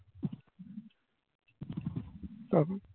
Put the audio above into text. তবে